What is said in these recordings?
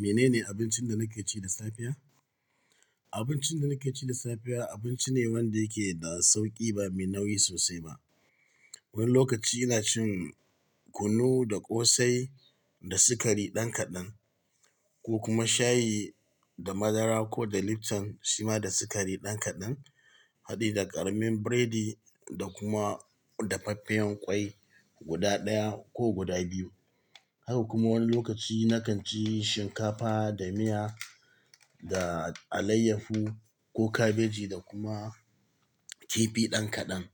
Menene abincin da naka ci da safiya? Abincin da nake ci da safiya abinci ne wanda yake da sauƙi ba mai nauyi sosai ba. Wani lokaci ina cin kunu da ƙosai da sukari ɗan kaɗan ko kuma shayi da madara ko da Lipton, sima da sukari ɗan kaɗan. Hadi da ƙaramin biredi da kuma dafaffen ƙwai guda ɗaya ko guda biyu. Haka kuma wani lokaci na kan ci shinkafa da miya da alayyafu ko kabeji da kuma kifi ɗan kaɗan.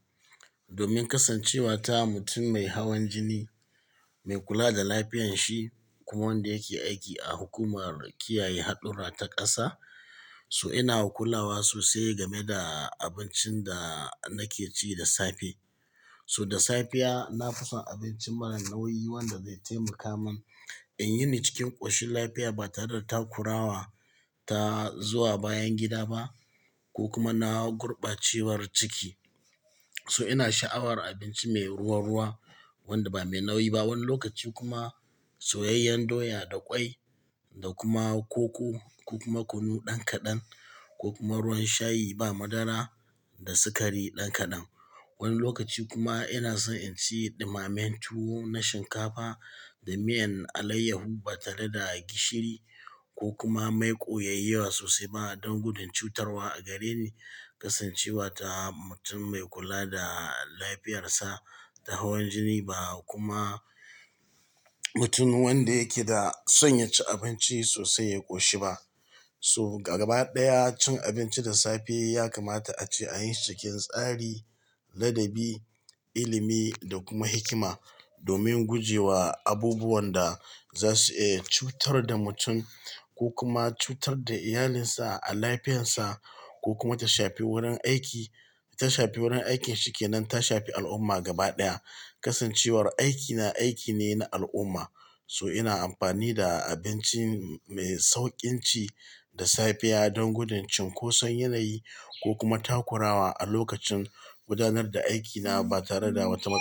Domin kasancewa ta mutum mai hawan jini, mai kula da lafiyan shi kuma wanda yake aiki a hukumar kiyaye haɗurra ta ƙasa. So ina kulawa sosai game da abincin da nake ci da safe. So da safiya na fi son abinci marar nauyi wanda zai taimaka min in yi ni cikin ƙoshin lafiya ba tare da takurawa ta zuwa bayan gida ba ko kuma na gurbacewar ciki. So ina sha'awar abinci mai ruwa-ruwa wanda ba mai nauyi ba. Wani lokaci kuma soyayyan doya da ƙwai da kuma koko ko kuma kunu ɗan kaɗan ko kuma ruwan shayi ba madara da sukari ɗan kaɗan. Wani lokaci kuma ina son in ci ɗumammen tuwo na shinkafa da miyan alayyafu ba tare da gishiri ko kuma maiƙo yayiwa sosai ba don gudun cutarwa a gareni. Kasancewa ta mutum mai kula da lafiyarsa da hawan jini ba kuma mutum wanda yake da son ya ci abinci sosai ya ƙoshi ba. So gaba ɗaya cin abinci da safe ya kamata a ci a yin cikin tsari, ladabi, ilimi da kuma hikima domin guje wa abubuwan da za su, eh cutar da mutum ko kuma cutar da iyalinsa a lafiyarsa ko kuma ta shafi wurin aiki, ta shafi wurin aikinsa kenan ta shafi al'umma gaba ɗaya. Kasancewar aikina aiki ne na al'umma. So ina amfani da abinci mai sauƙin ci da safiya don gudun cinkoson yanayi ko kuma takurawa a lokacin gudanar da aikina ba tare da wata matsala.